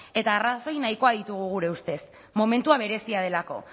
eta arrazoi nahikoak ditugu gure ustez momentua berezia delako